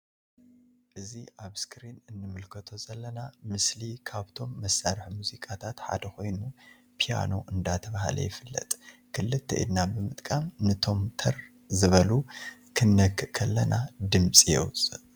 እዚ ኣብ እስክሪን እንምልከቶ ዘለና ምስሊ ካብቶም መሳርሒ ሙዚቃታት ሓደ ኮይኑ ፔያኖ ዳተብሃለ ይፍለጥ ክልተ ኢድና ብምጥቃም ንቶም ተር ዝበሉ ክነክእ ከለና ድምጺ የውጽእ።